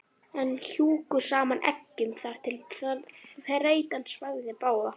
en hjuggu saman eggjum þar til þreytan svæfði báða.